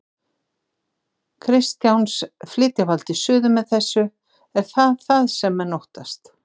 Kristjáns: Flytja valdið suður með þessu, er það það sem menn óttast?